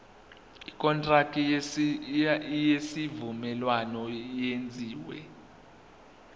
ikontraki yesivumelwano eyenziwe